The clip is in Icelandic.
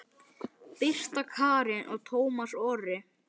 Birta Karen og Tómas Orri.